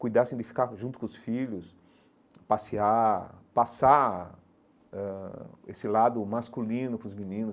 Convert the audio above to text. Cuidassem de ficar junto com os filhos, passear, passar ãh esse lado masculino com os meninos,